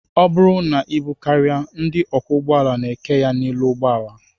Ọ bụrụ na ibu karịa, ndị ọkwọụgbọala na-eke ya n'elu ụgbọala